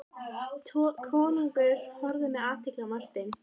Konungur horfði með athygli á Martein.